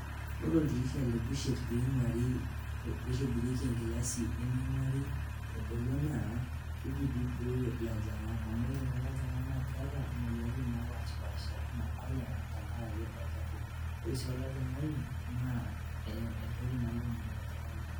Ore oldirisha le bussher tenitobirieki e nkilasi naa keji piiibooyo ilojingak amuu kidim neponu aayau imoyiaritin naijo cholera